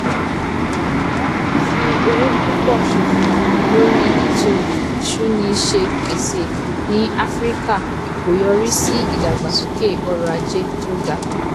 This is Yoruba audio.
àmọ fífi owó púpọ ṣòfò lórí ètò ìsúnniṣepèsè ní áfíríkà kò yọrí sí ìdàgbàsókè ọrọ ajé tó ga